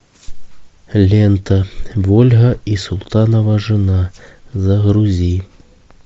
лента вольга и султанова жена загрузи